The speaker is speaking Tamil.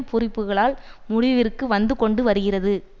பூரிப்புகளால் முடிவிற்கு வந்தது கொண்டு வருகிறது